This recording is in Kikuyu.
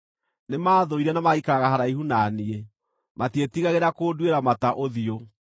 Nĩmathũire na magaikaraga haraihu na niĩ; matiĩtigagĩra kũnduĩra mata ũthiũ.